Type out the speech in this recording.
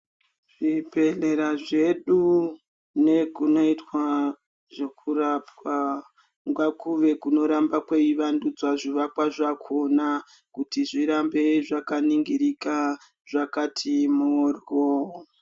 Zvibhedhlera zvedu nekunoitwa zvokurapa, ngakuve kunoramba kweivandudzwa zvivakwa zvakhona, kuti zvirambe zvakaningirika, zvakati moryo.